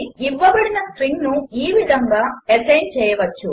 ఇవ్వబడిన స్ట్రింగ్ను ఈ విధముగా అసైన్ చేయవచ్చు